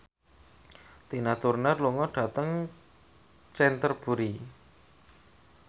Tina Turner lunga dhateng Canterbury